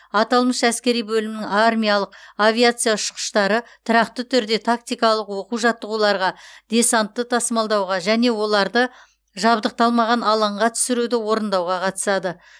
аталмыш әскери бөлімнің армиялық авиация ұшқыштары тұрақты түрде тактикалық оқу жаттығуларға десантты тасымалдауға және оларды жабдықталмаған алаңға түсіруді орындауға қатысады